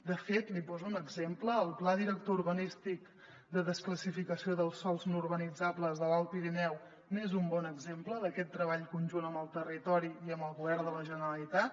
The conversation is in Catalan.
de fet li poso un exemple el pla director urbanístic de desclassificació dels sòls no urbanitzables de l’alt pirineu n’és un bon exemple d’aquest treball conjunt amb el territori i amb el govern de la generalitat